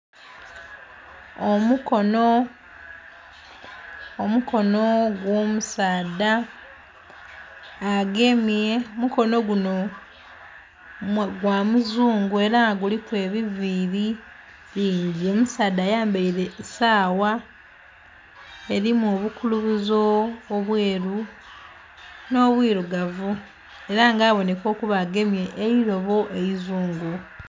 Omukono....omukono gwo omusaadha agemye... omukono guno gwa muzungu era nga guliku ebiviri bingi. Omusaadha ayambeire sawa erimu obukulubuzo obweru no bwirugavu era nga aboneka okuba agemye eirobo eizungu.